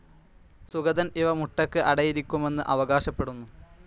സുഗതൻ ഇവ മുട്ടയ്ക്ക് അടയിരിക്കുമെന്ന് അവകാശപ്പെടുന്നു.